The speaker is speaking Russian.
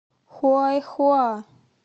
хуайхуа